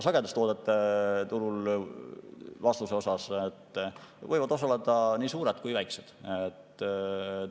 Sagedustoodete turul võivad osaleda nii suured kui ka väikesed.